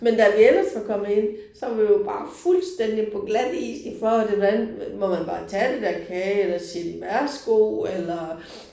Men da vi ellers var kommet ind så var vi jo bare fuldstændig på glatis i forhold til hvordan må man bare tage af det der kage eller siger de værsgo eller